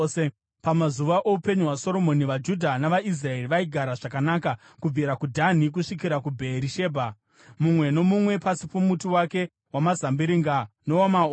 Pamazuva oupenyu hwaSoromoni vaJudha navaIsraeri vaigara zvakanaka, kubvira kuDhani kusvikira kuBheerishebha, mumwe nomumwe pasi pomuti wake wamazambiringa nowamaonde.